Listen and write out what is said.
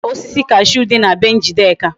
E nwere osisi cashew di na be njideka